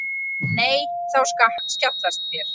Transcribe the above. Nei þá skjátlast þér.